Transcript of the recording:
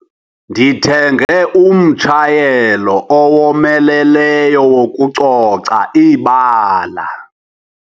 Ndithenge umtshayelo owomeleleyo wokucoca ibala.